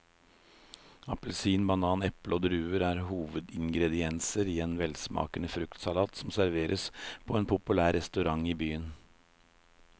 Appelsin, banan, eple og druer er hovedingredienser i en velsmakende fruktsalat som serveres på en populær restaurant i byen.